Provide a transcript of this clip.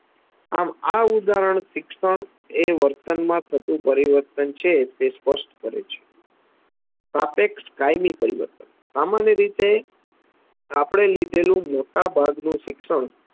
આમ આ ઉદાહરણ શિક્ષણ એ વર્તનમાં થતુ પરિવર્તન છે એ સ્પષ્ટ કરે છે સાપેક્ષ કાયમી પરિવર્તન સામાન્ય રીતે આપણે લીધેલુ મોટા ભાગનું શિક્ષણ